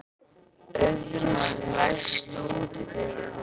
Auðrún, læstu útidyrunum.